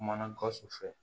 Kumana gawusu fɛ